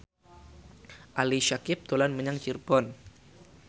Ali Syakieb dolan menyang Cirebon